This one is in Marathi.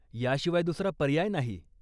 याशिवाय दूसरा पर्याय नाही.